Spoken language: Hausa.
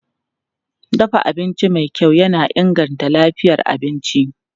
Dafa abinci mai kyau yana inganta lafiyar abinci.